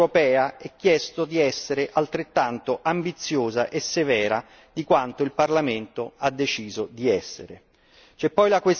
Alla Commissione europea è chiesto di essere altrettanto ambiziosa e severa quanto il Parlamento ha deciso di essere.